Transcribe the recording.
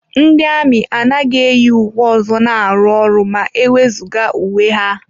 Ndị amị anaghị eyi uwe ọzọ na-arụ ọrụ ma e wezụga uwe ha.